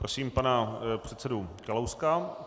Prosím pana předsedu Kalouska.